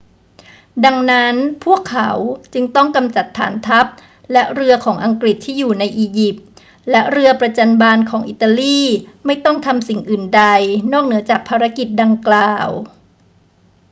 ดังนั้นพวกเขาจึงต้องกำจัดฐานทัพและเรือของอังกฤษที่อยู่ในอียิปต์ และเรือประจัญบานของอิตาลีไม่ต้องทำสิ่งอื่นใดนอกเหนือจากภารกิจดังกล่าว